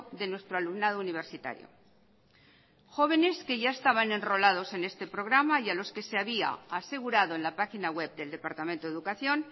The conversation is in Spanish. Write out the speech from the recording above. de nuestro alumnado universitario jóvenes que ya estaban enrolados en este programa y a los que se había asegurado en la página web del departamento de educación